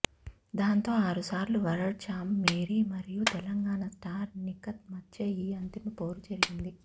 దాంతో ఆరుసార్లు world champ Mary మరియు తెలంగాణ స్టార్ నిఖత్ మధ్య ఈ అంతిమ పోరు జరిగింది